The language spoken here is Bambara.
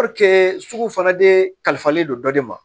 sugu fana de kalifalen don dɔ de ma